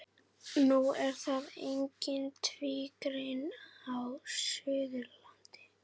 Nú er það einnig tvígreint á Suðurlandi.